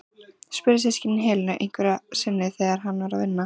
spurðu systkinin Helenu einhverju sinni þegar hann var að vinna.